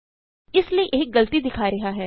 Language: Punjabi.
ਇਸ ਲਈ ਇਹ ਗਲਤੀ ਦਿਖਾ ਰਿਹਾ ਹੈ